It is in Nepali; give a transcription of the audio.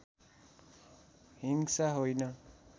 हिंसा होइन